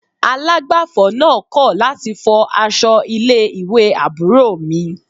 Alágbàfọ̀ náà kọ̀ láti fọ aṣọ ilé ìwé àbúrò mi